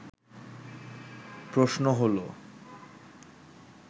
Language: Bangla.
প্রশ্ন হলো